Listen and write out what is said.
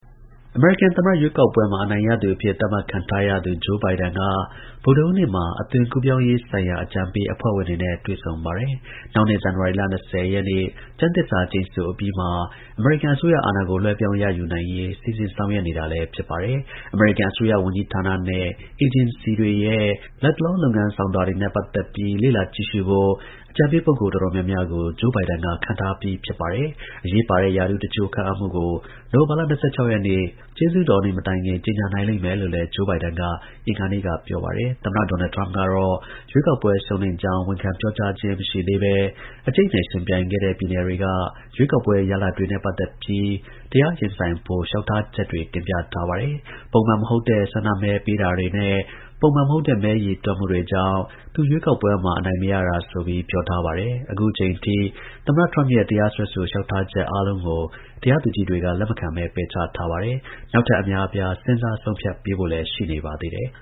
အမေရိကန် သမ္မတ ရွေးကောက်ပွဲမှာ အနိုင်ရသူအဖြစ် သတ်မှတ်ခံထားရသူ Joe Biden က ဗုဒ္ဓဟူးနေ့မှာ အသွင်ကူးပြောင်း ရေးဆိုင်ရာ အကြံပေး အဖွဲ့ဝင်တွေနဲ့ တွေ့ဆုံပါတယ်။ နောက်နှစ် ဇန်နဝါရီလ ၂၀ ရက်နေ့ ကျမ်းသစ္စာ ကျိန်ဆိုအပြီးမှာ အမေရိကန် အစိုးရ အာဏာ ကို လွှဲပြောင်းရယူနိုင်ရေး စီစဉ် ဆောင်ရွက်နေတာလည်း ဖြစ်ပါတယ်။ အမေရိကန်အစိုးရဝန်ကြီးဌာနနဲ့ အေဂျင်စီတွေရဲ့ လတ်တလော လုပ်ငန်းဆောင်တာတွေနဲ့ ပတ်သက်ပြီး လေ့လာကြည့်ရှုဖို့ အကြံပေး ပုဂ္ဂိုလ် တော်တော်များများကို Joe Biden က ခန့်အပ်ထားပြီး ဖြစ်ပါတယ်။ အရေးပါတဲ့ ရာထူးတစ်ချို့ ခန့်အပ်မှုကို နိုဝင်ဘာလ ၂၆ ရက်နေ့ ကျေးဇူးတော်နေ့ မတိုင်ခင် ကြေညာနိုင်လိမ့်မယ်လို့လည်း Joe Biden က အင်္ဂါနေ့က ပြောပါတယ်။ သမ္မတ ဒေါ်နယ် ထရမ့်ကတော့ ရွေးကောက်ပွဲ ရှုံးနိမ့်ကြောင်း ဝန်ခံ ပြောကြားခြင်း မရှိသေးဘဲ အကြိတ်အနယ် ယှဉ်ပြိုင်ခဲ့တဲ့ ပြည်နယ်တွေက ရွေးကောက်ပွဲ ရလဒ်တွေနဲ့ ပတ်သက်ပြီး တရားရင်ဆိုင်ဖို့ လျှောက်ထားချက်တွေ တင်ထား ပါတယ်။ ပုံမှန်မဟုတ်တဲ့ ဆန္ဒမဲပေးတာနဲ့ မဲရေတွက်မှုတွေကြောင့် သူ ရွေးကောက်ပွဲမှာ အနိုင်မရတာဆိုပြီး ပြောထားပါတယ်။ အခု အချိန် အထိ သမ္မတထရမ့်ရဲ့ တရားစွဲဆိုလျှောက်ထားချက် အားလုံးကို တရားသူကြီးတွေက လက်မခံဘဲ ပယ်ချထားပါတယ်။ နောက်ထပ် အများအပြား စဉ်းစား ဆုံးဖြတ်ပေးဖို့လည်း ရှိနေပါသေးတယ်။